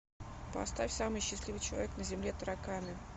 поставь самый счастливый человек на земле тараканы